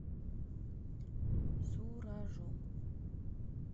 суражом